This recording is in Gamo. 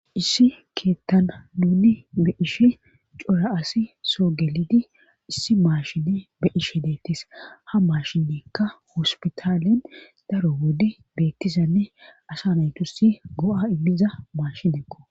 issi keettana muuni be ishe cora asi soo gelidi issi maashine be ishe deettes ha mashinnekka hospitaalen daro wode beettizanne asa naytussi go7a immiza maashinekko